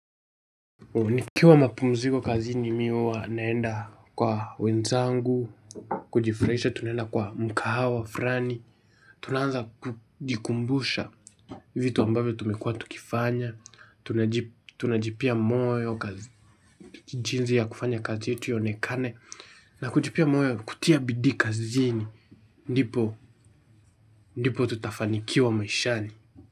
Nikiwa mapumziko kazini mimi huwa naenda kwa wenzangu kujifurahisha tunaenda mkahawa fulani tunaanza kujikumbusha vitu ambavyo tumekuwa tukifanya tunajk tunajipea moyo kazi jinsi ya kufanya kazi yetu ionekane na kujipea moyo kutia bidii kazini ndipo ndipo tutafanikiwa maishani.